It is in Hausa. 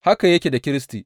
Haka yake da Kiristi.